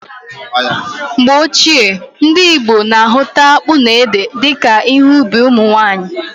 Mgbe ochie, ndị Igbo na ahụta akpụ na ede dika ihe ubi ụmụnwanyị